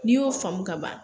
N'i y'o faamu kaban